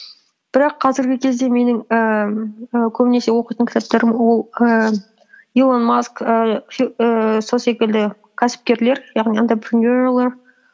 бірақ қазіргі кезде менің ііі көбінесе оқитын кітаптарым ол ііі илон маск ііі сол секілді кәсіпкерлер яғни